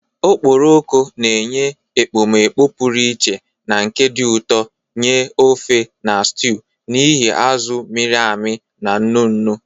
Okporoko na-enye ekpomeekpo pụrụ iche na nke dị ụtọ nye ofe na stew n'ihi azụ̀ mịrị amị na nnu nnu.